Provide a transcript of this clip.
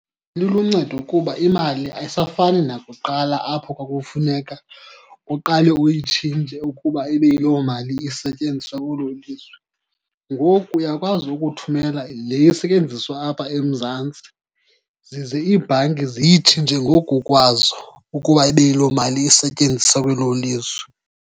Liluncedo kuba imali ayisafani nakuqala apho kwakufuneka uqale uyitshintshe ukuba ibe yiloo mali isetyenziswa kwelo lizwe. Ngoku uyakwazi ukuthumela le isetyenziswa apha eMzantsi, zize ibhanki ziyitshintshe ngoku kwazo ukuba ibe yiloo mali isetyenziswa kwelo lizwe.